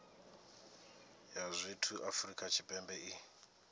ya zwithu afrika tshipembe i